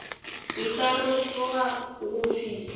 e tla rotoga go fihla